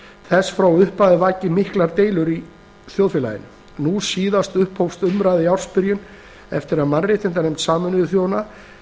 þess frá upphafi vakið miklar deilur í þjóðfélaginu nú síðast upphófust umræður í ársbyrjun eftir að mannréttindanefnd sameinuðu þjóðanna